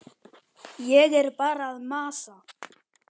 Ég er bara að masa.